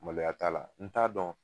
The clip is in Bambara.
Maloya t'a la n t'a dɔn